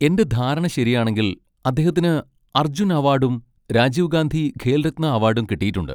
എൻ്റെ ധാരണ ശരിയാണെങ്കിൽ അദ്ദേഹത്തിന് അർജുൻ അവാഡും രാജീവ് ഗാന്ധി ഖേൽ രത്ന അവാഡും കിട്ടിയിട്ടുണ്ട്.